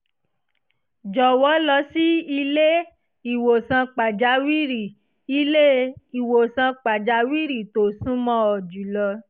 jọ̀wọ́ lọ sí ilé-ìwòsàn pàjáwìrì ilé-ìwòsàn pàjáwìrì tó sún mọ́ ọ jùlọ